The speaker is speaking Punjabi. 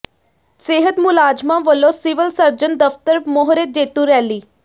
ਸਿਹਤ ਮੁਲਾਜ਼ਮਾਂ ਵਲੋਂ ਸਿਵਲ ਸਰਜਨ ਦਫ਼ਤਰ ਮੂਹਰੇ ਜੇਤੂ ਰੈਲੀ